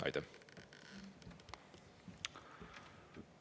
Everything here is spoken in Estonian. Aitäh!